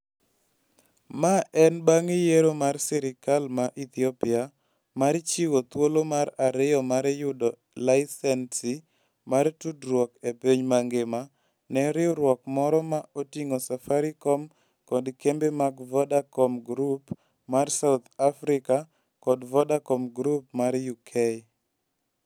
Ma en bang' yiero mar sirkal mar Ethiopia mar chiwo thuolo mar ariyo mar yudo layisensi mar tudruok e piny mangima ne riwruok moro ma oting'o Safaricom kod kembe mag Vodacom Group mar South Africa kod Vodafone Group mar UK.